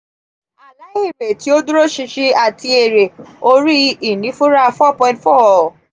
ala èrè ti o duroṣinṣin ati ere ori inifura four point four.